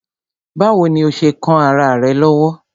Báwo ni ó ṣe kán ará rẹ̀ lọ́wọ́?